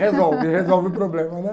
Resolve, resolve o problema, né?